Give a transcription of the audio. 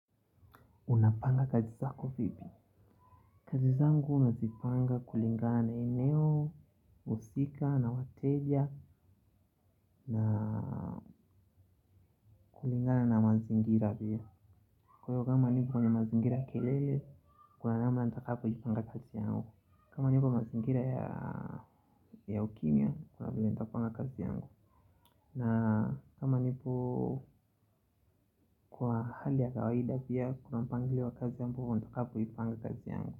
Unapanga kazi zako vipi. Kazi zangu nazipanga kulingana na eneo. Usika na wateja. Na kulingana na mazingira pia. Kwa hivyo kama nipo kwenye mazingira kelele kuna nama nitakapoipanga kazi yangu. Kama nipo mazingira ya ukimya kuna venye nitapanga kazi yangu. Na kama nipo kwa hali ya kawaida pia kuna mpangilio wa kazi ambavyo nitakapoipanga kazi yangu.